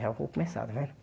Já vou começar, está vendo.